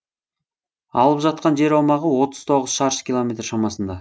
алып жатқан жер аумағы отыз тоғыз шаршы километр шамасында